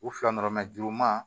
U fila nɔrɔ mɛ juru ma